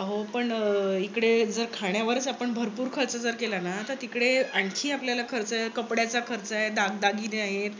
अहो पण इकडे जर खाण्यावरच आपण भरपूर खर्च जर केला ना. तर तिकडे आणखी आपल्याला खर्च आहेत. कपड्याचा खर्च आहे. दागदागिने आहेत.